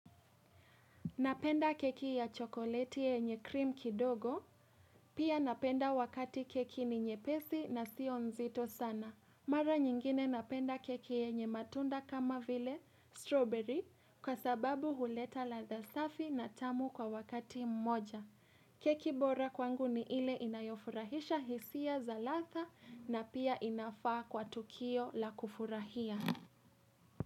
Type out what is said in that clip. Napenda keki ya chokoleti yenye cream kidogo, pia napenda wakati keki ni nyepesi na sio nzito sana. Mara nyingine napenda keki yenye matunda kama vile strawberry, kwa sababu huleta ladha za safi na tamu kwa wakati mmoja. Keki bora kwangu ni ile inayofurahisha hisia za ladha na pia inafaa kwa tukio la kufurahia.